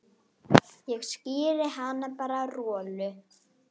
Ég skíri hann bara Rolu.